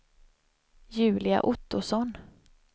Julia Ottosson